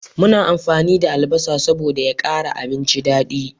Muna amfani da albasa saboda da ya kara abinci dadi